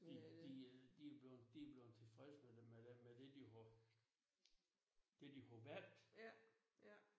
De de øh de bleven de bleven tilfreds med det med det med det de har det de har valgt